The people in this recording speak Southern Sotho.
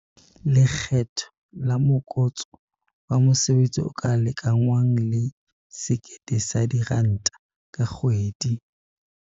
Lekgetho la Morokotso wa Mosebetsi o ka lekangwang le R1 000 ka kgwedi.